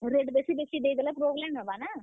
Rate ଦେଖି ଦେଖି ଦେଇଦେଲେ problem ହେବା ନାଁ।